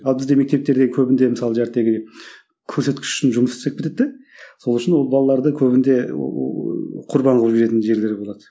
ал бізде мектептерде көбінде мысалы көрсеткіш үшін жұмыс істеп кетеді де сол үшін ол балаларды көбінде құрбан қылып жіберетін жерлері болады